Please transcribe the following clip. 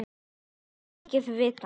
Hann kvaðst eigi vita.